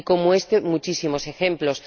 Y como este, muchísimos ejemplos.